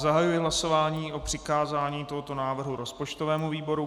Zahajuji hlasování o přikázání tohoto návrhu rozpočtovému výboru.